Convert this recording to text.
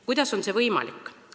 Kuidas on see võimalik?